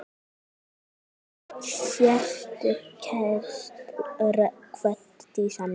Sértu kært kvödd, Dísa mín.